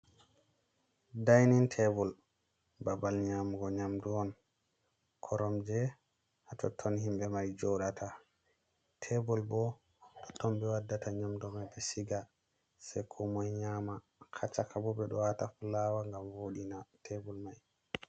Dainin tebula babal nyamugo nyamdu on koromje hatotton himbe mai jodata, tebul bo haton bewaddata nyamdu mai beshiga se ko moi nyama haacaka bo be ɗo wata fulawa gam wodina tebul mai.